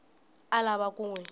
a lava ku n wi